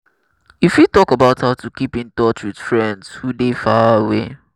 you fit talk about how to keep in touch with friends who dey far away.